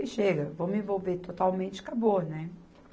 E chega, vou me envolver totalmente, acabou, né?